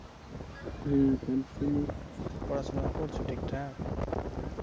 এর, পড়াশোনা করছ ঠিকঠাক?